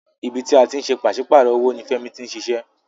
Ibi tí a ti ń ṣe pàsípàrọ̀ owó ní Fẹ́mi tí ń ṣiṣẹ́.